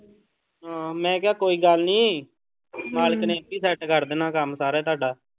ਹਾਂ ਮੈਂ ਕਿਹਾ ਕੋਈ ਗੱਲ ਨੀ ਮਾਲਕ ਨੇ ਇੱਥੇ ਹੀ set ਕਰ ਦੇਣਾ ਕੰਮ ਸਾਰਾ ਤੁਹਾਡਾ।